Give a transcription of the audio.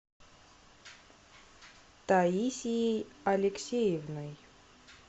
таисией алексеевной